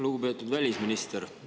Lugupeetud välisminister!